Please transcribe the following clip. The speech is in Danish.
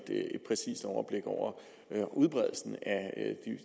præcist overblik over udbredelsen af